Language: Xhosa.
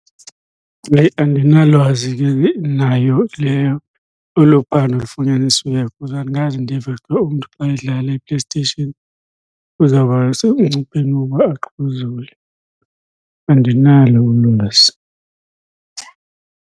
Yheyi, andinalwazi ke nayo le olu phando lufunyanisiweyo cause andikaze ndive xa uba umntu xa edlala iPlaystation, uzawuba semngcupheni wokuba axhuzule. Andinalo ulwazi.